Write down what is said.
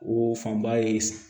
O fanba ye